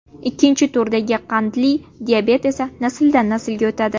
Ikkinchi turdagi qandli diabet esa nasldan naslga o‘tadi.